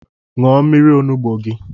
Nwụọ mmiri onugbu gi!